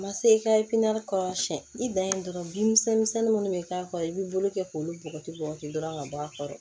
A ma se i ka kɔrɔ siyɛn i dan ye dɔrɔn bin misɛnnin minnu bɛ k'a kɔrɔ i b'i bolo kɛ k'olu bɔgɔti bɔgɔti dɔrɔn ka bɔ a kɔrɔ